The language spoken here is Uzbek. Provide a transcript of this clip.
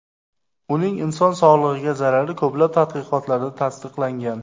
Uning inson sog‘lig‘iga zarari ko‘plab tadqiqotlarda tasdiqlangan .